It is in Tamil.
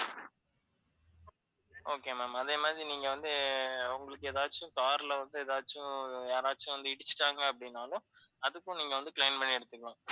okay ma'am. அதேமாதிரி நீங்கவந்து உங்களுக்கு ஏதாவது car ல வந்து ஏதாச்சும், யாராச்சும் வந்து இடிச்சுட்டாங்க அப்படின்னாலும் அதுக்கும் நீங்க வந்து claim பண்ணி எடுத்துக்கலாம்.